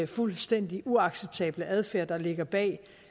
fuldstændig uacceptable adfærd der ligger bag